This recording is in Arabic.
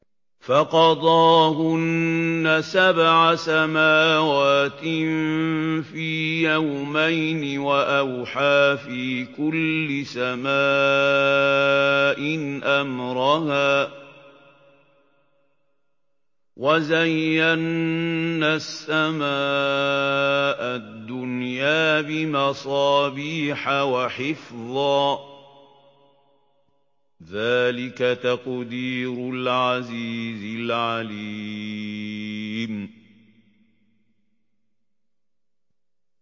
فَقَضَاهُنَّ سَبْعَ سَمَاوَاتٍ فِي يَوْمَيْنِ وَأَوْحَىٰ فِي كُلِّ سَمَاءٍ أَمْرَهَا ۚ وَزَيَّنَّا السَّمَاءَ الدُّنْيَا بِمَصَابِيحَ وَحِفْظًا ۚ ذَٰلِكَ تَقْدِيرُ الْعَزِيزِ الْعَلِيمِ